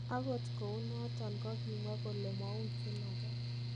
Agot kouunoton kogimwaa kole mouchin agee.